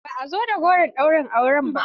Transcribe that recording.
Ba a zo da goro ɗaurin auren ba.